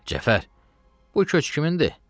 Cəfər, bu köç kimindir?